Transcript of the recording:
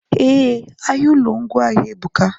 Eh, ahịa ụlọ ngwaahịa ebuka